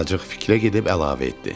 Azacıq fikrə gedib əlavə etdi.